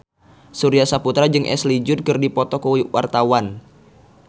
Surya Saputra jeung Ashley Judd keur dipoto ku wartawan